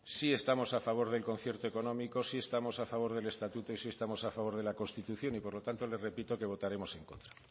sí estamos a favor del concierto económico sí estamos a favor del estatuto y sí estamos a favor de la constitución y por lo tanto le repito que votaremos en contra